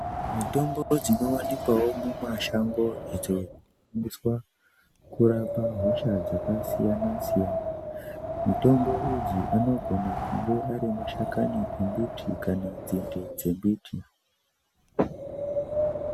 Mitombo dzinowanukwawo mumashango dzinoshandiswa kurapa hosha dzakasiyana siyana mitombo idzi anogona kubuda Ari mashakani nembiti kana nzinde dzembuti.